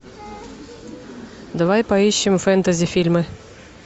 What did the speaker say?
давай поищем фэнтези фильмы